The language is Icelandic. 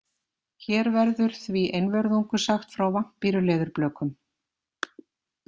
Hér verður því einvörðungu sagt frá vampíruleðurblökum.